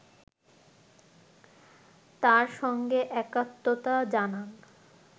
তার সঙ্গে একাত্মতা জানান